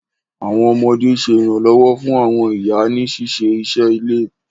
Àwọn ọmọdé sè iranlọwọ fún àwọn ìyá ní ṣiṣé iṣé ilé.